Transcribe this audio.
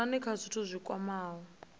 dzikhonani kha zwithu zwi kwamaho